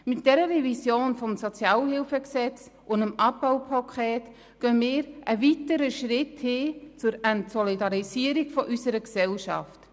Mit dieser SHG-Revision und mit dem Abbaupaket gehen wir einen weiteren Schritt in Richtung Entsolidarisierung unserer Gesellschaft.